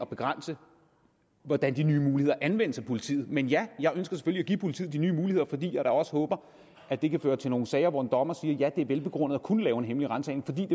begrænse hvordan de nye muligheder anvendes af politiet men ja jeg ønsker selvfølgelig at give politiet de nye muligheder fordi jeg da også håber at det kan føre til nogle sager hvor en dommer vil sige ja det er velbegrundet at kunne lave en hemmelig ransagning